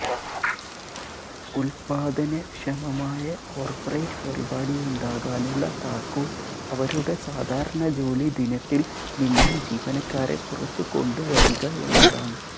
ഉൽപ്പാദനക്ഷമമായ corporate പരിപാടിയുണ്ടാകാനുള്ള താക്കോൽ അവരുടെ സാധാരണ ജോലി ദിനത്തിൽ നിന്നും ജീവനക്കാരെ പുറത്തുകൊണ്ടുവരിക എന്നതാണ്